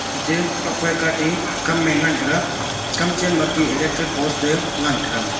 ate tokphai kah ate kamye ngan taoga kam chenma ate electric post te ngantaga agma.